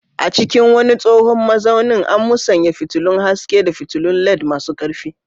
A cikin wani tsohon mazaunin, an musanya fitilun haske da fitulun LED masu ƙarfi.